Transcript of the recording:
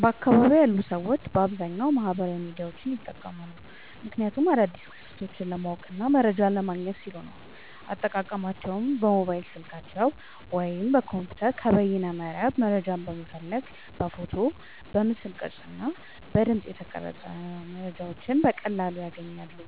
በአካባቢየ ያሉ ሰዎች በአብዛኛዉ ማህበራዊ ሚዲያዎችን ይጠቀማሉ። ምክንያቱም አዳዲስ ክስተቶችን ለማወቅና መረጃ ለማግኘት ሲሉ ነዉ። አጠቃቀማቸዉም በሞባይል ስልካቸዉ ወይም በኮምፒዉተር ከበይነመረብ መረጃን በመፈለግ በፎቶ፣ በምስል ቅርጽ እና በድምጽ መረጃዎችን በቀላሉ ያገኛሉ